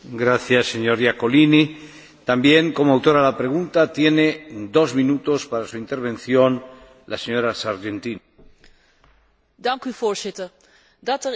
Voorzitter, dat er in Europa gevangenissen zijn waar gevangenen, verdachten en veroordeelden risico's lopen op ziektes, op geweld, is een schande op zichzelf.